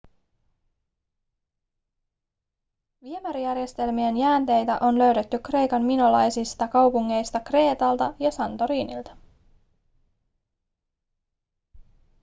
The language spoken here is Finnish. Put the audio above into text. viemärijärjestelmien jäänteitä on löydetty kreikan minolaisista kaupungeista kreetalta ja santorinilta